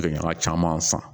Gɛlɛya caman san